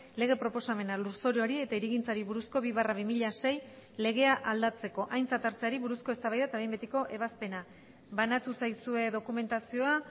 lege proposamena lurzoruari eta hirigintzari buruzko bi barra bi mila sei legea aldatzeko aintzat hartzeari buruzko eztabaida eta behin betiko ebazpena banatu zaizue dokumentazioa